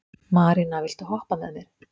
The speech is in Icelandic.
Marína, viltu hoppa með mér?